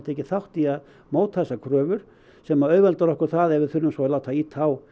tekið þátt í að móta þessar kröfur sem auðveldar okkur það ef við þurfum að ýta á